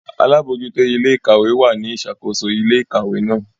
Alabojuto ile-ikawe wa ni isakoso ile-ikawe náà.